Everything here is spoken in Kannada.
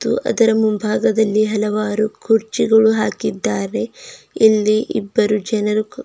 ಅದರ ಮುಂಭಾಗದಲ್ಲಿ ಹಲವಾರು ಕುರ್ಚಿಗಳನ್ನು ಹಾಕಿದ್ದಾರೆ ಇಲ್ಲಿ ಇಬ್ಬರು ಜನರು--